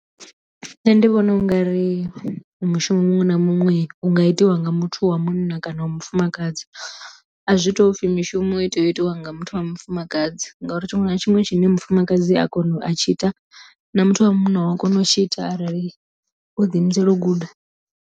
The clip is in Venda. Nṋe ndi vhona ungari mushumo muṅwe na muṅwe u nga itiwa nga muthu wa munna kana wa mufumakadzi a zwi tou pfhi mishumo i tea u itiwa nga muthu wa mufumakadzi ngauri tshiṅwe na tshiṅwe tshine mufumakadzi a kona a tshi ita na muthu wa munna u a kona u tshi ita arali o ḓi imisela u guda.